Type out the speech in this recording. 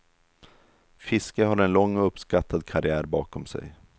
Fiske har en lång och uppskattad karriär bakom sig.